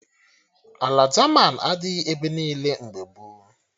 Ala jaman adịghị ebe niile mgbe gboo